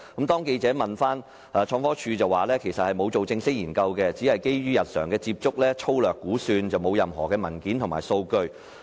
當記者追問時，創科署回應指其實未作正式研究，只是基於日常接觸作出粗略估算，沒有任何文件及數據可提供。